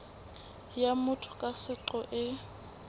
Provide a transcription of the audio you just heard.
ya motho ka seqo e